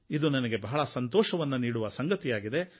ಇದು ನನಗೆ ಬಹಳ ಸಂತೋಷವನ್ನು ನೀಡುವ ಸಂಗತಿಯಾಗಿದೆ